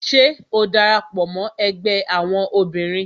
Ṣé o dara pọ mó ẹgbẹ́ àwọn obìnrin?